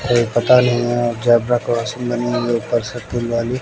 ये पता नहीं है जेब्रा क्रॉसिंग बनी हुई हैं वाली--